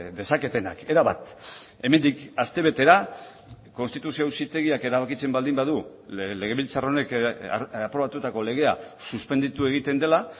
dezaketenak erabat hemendik astebetera konstituzio auzitegiak erabakitzen baldin badu legebiltzar honek aprobatutako legea suspenditu egiten dela